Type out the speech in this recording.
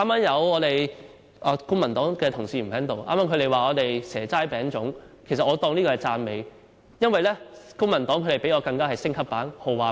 現在公民黨的同事不在席，他們剛才指我們"蛇齋餅粽"，其實我視之為讚美，因為與我們相比，公民黨是升級版、豪華版。